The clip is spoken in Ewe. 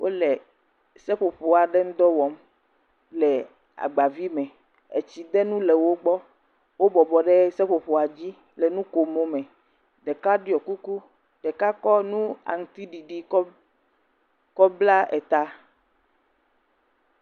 Wole seƒoƒo aɖe ŋudɔ wɔm le agba vi me, etsidenu le wo gbɔ, wo bɔbɔ ɖe seƒoƒoa dzi le nukomo me, eka ɖɔ kuku, ɖeka kɔ nu aŋutiɖiɖi kɔ bla ta.